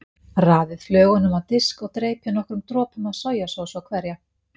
Raðið flögunum á disk og dreypið nokkrum dropum af sojasósu á hverja.